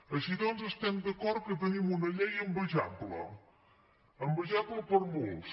així doncs estem d’acord que tenim una llei envejable envejable per molts